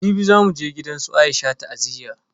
Jibi zamu je gidansu Aisha ta'aziyya.